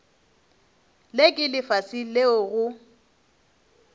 le ke lefase leo go